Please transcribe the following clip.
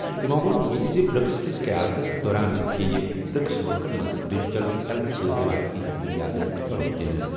تِمَو ووٚن یہِ تہِ زِ برکس کِس قیادتس دوران یِیہِ برکس مُلکَن منٛز ڈیجیٹل ہیلتھ تہٕ رٮ۪وٲیتی ادوِیاتن فروغ دِنہٕ۔